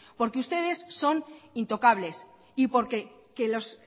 porque ustedes son intocables y porque los